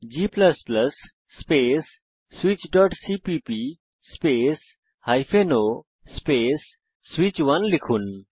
g space switchসিপিপি space o space সুইচ1 লিখুন